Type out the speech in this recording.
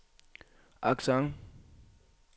accent